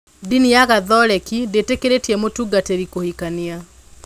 Ndini ya Gatholeki ndĩtĩkĩirie mũtungatĩri kũhikania.